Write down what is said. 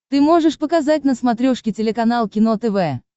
ты можешь показать на смотрешке телеканал кино тв